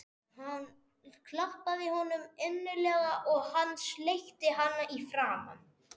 Hún klappaði honum innilega og hann sleikti hana í framan.